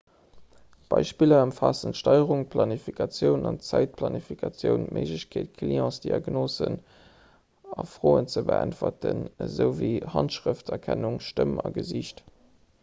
beispiller ëmfaassen d'steierung d'planifikatioun an d'zäitplanifikatioun d'méiglechkeet clientsdiagnosen a froen ze beäntweren esouwéi handschrëfterkennung stëmm a gesiicht